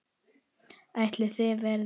Ætli það verði nokkuð gert?